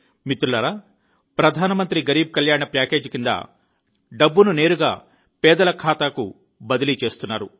మిత్రులారా ప్రధాన మంత్రి గరీబ్ కళ్యాణ్ ప్యాకేజీ కింద డబ్బును నేరుగా పేదల ఖాతాకు బదిలీ చేస్తున్నారు